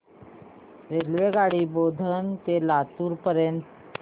रेल्वेगाडी बोधन ते लातूर पर्यंत